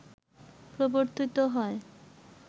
প্রবর্তিত হয়